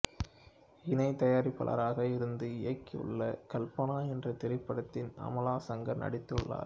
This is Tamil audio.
இணை தயாரிப்பாளராக இருந்து இயக்கியுள்ள கல்பனா என்றத் திரைப்படத்தில் அமலா சங்கர் நடித்துள்ளார்